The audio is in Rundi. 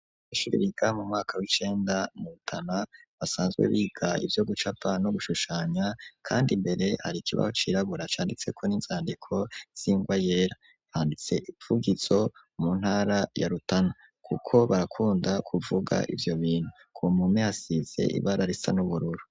Ishure biga mu mwaka w'icenda mu Rutana basanzwe biga ivyo gucapa no gushushanya kandi imbere hari ikibaho cirabura canditseko n'inzandiko z'ingwa yera banditse ivugizo mu ntara ya Rutana kuko barakunda kuvuga ivyo bintu ku mpome hasize ibara risa n'ubururu.